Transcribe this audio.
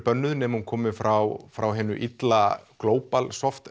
bönnuð nema hún komið frá frá hinu illa